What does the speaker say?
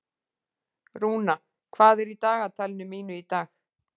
Rúna, hvað er í dagatalinu mínu í dag?